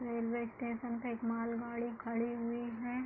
Railway station पे एक मालगाड़ी खड़ी हुई है।